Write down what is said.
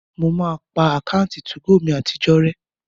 Mo máa pa àkáǹtì 2go mi àtijọ́ rẹ́